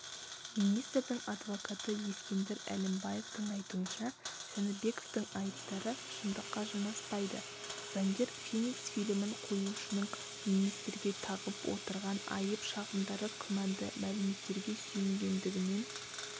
министрдің адвокаты ескендір әлімбаевтің айтуынша жәнібековтің айыптары шындыққа жанаспайды заңгер феникс фильмін қоюшының министрге тағып отырған айып-шағымдары күмәнді мәліметтерге сүйенгендігінен